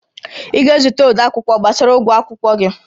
Ị ga-ezute odeakwụkwọ gbasara ụgwọ akwụkwọ gị?